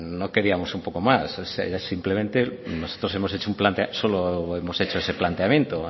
no queríamos un poco más era simplemente nosotros solo hemos hecho ese planteamiento